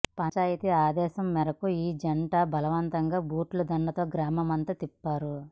పంచాయతీ ఆదేశం మేరకు ఈ జంట బలవంతంగా బూట్ల దండతో గ్రామమంతా తిప్పారు